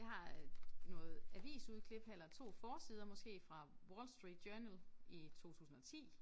Jeg har øh noget avisudklip eller 2 forsider måske fra Wall Street Journal i 2010